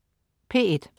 P1: